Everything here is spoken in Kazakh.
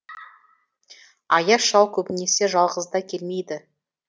аяз шал көбінесе жалғыз да келмейді